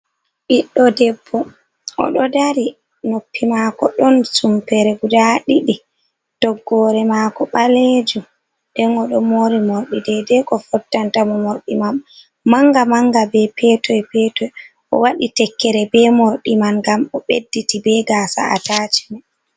Ɓiɗɗo debbo, oɗo dari noppi mako ɗon sumpere guda ɗiɗi, toggore mako ɓalejum nden oɗo mori morɗi dedei ko fottantamo. Morɗi man manga manga be petoy petoy o waɗi tekkere be morɗi man ngam obedditi be gasa attacmen.